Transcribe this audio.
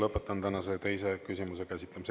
Lõpetan tänase teise küsimuse käsitlemise.